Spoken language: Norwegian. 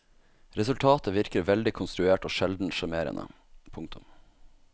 Resultatet virker veldig konstruert og sjelden sjarmerende. punktum